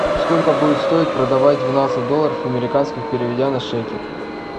сколько будет стоить продавать двенадцать долларов американских переведя на шекель